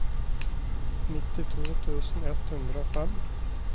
nittito tusen ett hundre og fem